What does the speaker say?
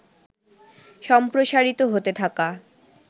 সমপ্রসারিত হতে থাকা